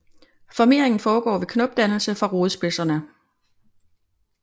Formeringen foregår ved knopdannelse fra rodspidserne